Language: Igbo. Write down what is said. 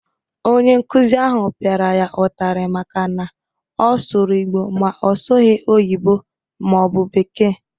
Onye nkuzi ahụ pịara ya ụtarị maka na ọ sụrụ Igbo ma ọ sụghị oyino/bekee